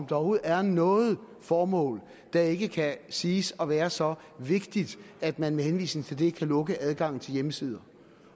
der overhovedet er noget formål der ikke kan siges at være så vigtigt at man med henvisning til det kan lukke adgangen til hjemmesider